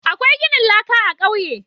Akwai ginin laƙa a kauye